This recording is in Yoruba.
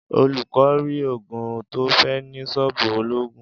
Olú kò rí ògùn tó fé̩ ní s̩ó̩ò̩bù olóògùn